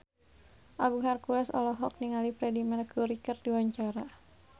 Agung Hercules olohok ningali Freedie Mercury keur diwawancara